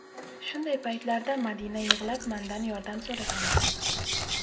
Shunday paytlarda Madina yig‘lab mandan yordam so‘ragandi.